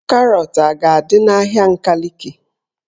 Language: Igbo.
Karọt a ga-adị n'ahịa Nkaliki?